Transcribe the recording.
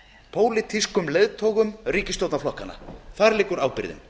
pólitískum leiðtogum ríkisstjórnarflokkanna þar liggur ábyrgðin